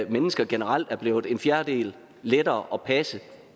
mennesker generelt er blevet en fjerdedel lettere at passe